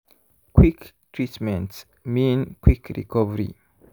quick treatment mean quick recovery.